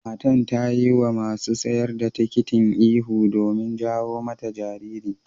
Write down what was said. Matan to yi ma masun siyar da tikitin ihu domin jawo mata jariri.